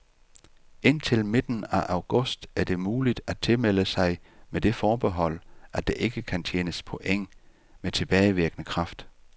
Indtil midten af august er det muligt at tilmelde sig med det forbehold, at der ikke kan tjenes point med tilbagevirkende kraft.